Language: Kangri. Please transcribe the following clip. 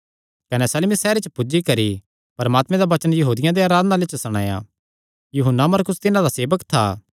कने सलमिस सैहरे च पुज्जी करी परमात्मे दा वचन यहूदियां दे आराधनालयां च सणाया यूहन्ना मरकुस तिन्हां दा सेवक था